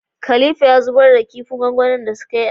Khalifa ya zubar da da sadin din da sukayi asfaya